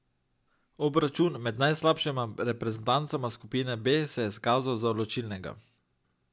Obračun med najslabšima reprezentancama skupine B se je izkazal za odločilnega.